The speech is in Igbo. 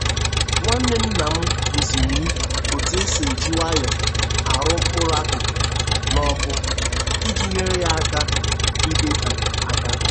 Nwanne nna m kụziri m otu e si e ji nwayọ arụ mkpụrụ akụkụ n'ọkụ iji nyere ya aka ịdịte aka.